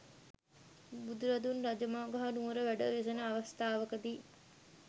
බුදුරදුන් රජගහ නුවර වැඩ වෙසෙන අවස්ථාවකදී